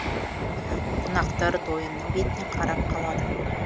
қонақтар дойынның бетіне қарап қалады